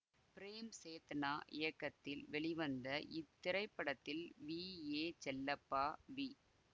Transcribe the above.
frame Chetna இயக்கத்தில் வெளிவந்த இத்திரைப்படத்தில் வி ஏ செல்லப்பா வி